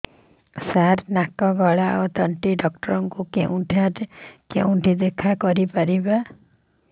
ସାର ନାକ ଗଳା ଓ ତଣ୍ଟି ଡକ୍ଟର ଙ୍କୁ କେଉଁଠି ଦେଖା କରିପାରିବା